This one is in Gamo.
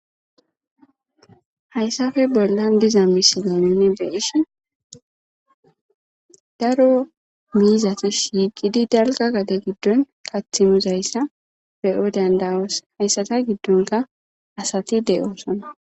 hayssafe bollan diza misilamone be ishi daro miizatis hiiqidi dalga gade giddon qathimuzayssa beyo dandawos hayssata giddonka asati de7oosona